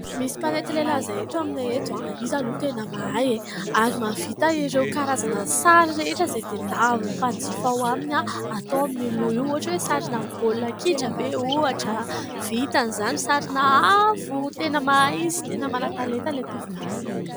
Misy mpanety lehilahy izay eto aminay eto, izy aloha tena mahay ary mahavita ireo karazana sary rehetra izay tadiavin'ny mpanjifa ao aminy atao amin'io loha io. Ohatra hoe sarina baolina kitra ve ohatra, vitany izany, sarina afo. Tena mahay izy, tena manan-talenta ilay tovolahy.